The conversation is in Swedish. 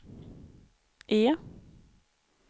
E